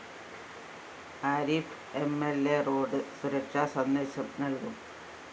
Arif MLA road സുരക്ഷാ സന്ദേശം നല്‍കും